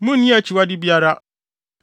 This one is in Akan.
Munnni akyiwade biara.